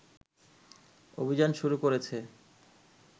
অভিযান শুরু করেছে